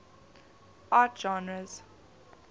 art genres